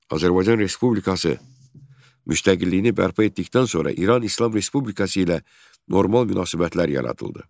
Azərbaycan Respublikası müstəqilliyini bərpa etdikdən sonra İran İslam Respublikası ilə normal münasibətlər yaradıldı.